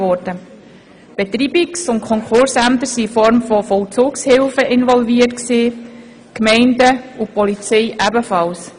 Die Betreibungs- und Konkursämter waren als Vollzugshilfen involviert, die Gemeinden und die Polizei ebenfalls.